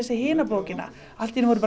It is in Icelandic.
hina bókina allt í einu voru